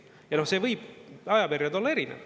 Ja see ajaperiood võib olla erinev.